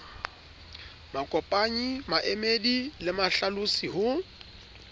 makopanyi maemedi le mahlalosi ho